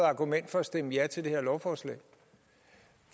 argument for at stemme ja til det her lovforslag